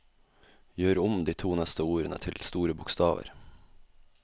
Gjør om de to neste ordene til store bokstaver